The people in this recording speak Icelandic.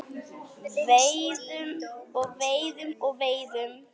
Veiðum og veiðum og veiðum.